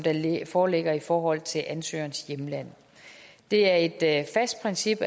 foreligger i forhold til ansøgerens hjemland det er et fast princip